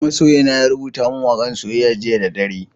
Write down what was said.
Masoyina ya rubuta min waka'n soyayya jiya da dare.